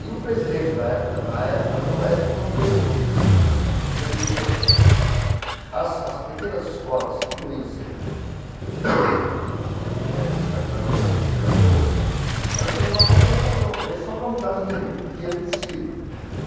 E o presidente, da época na época da UESP, não teve jogo de cintura, porque ele deixou as as pequenas escolas, que não iam ser eh focalizadas pela pela Globo, elas queriam uma compensação também, só para mudar o dia o dia do desfile.